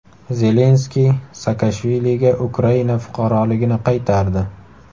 Zelenskiy Saakashviliga Ukraina fuqaroligini qaytardi.